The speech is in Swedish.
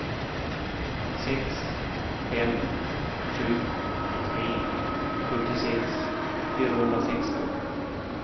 sex fem sju tre fyrtiosex fyrahundrasexton